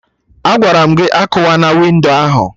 Agwara m gị "akụwana windo ahụ"!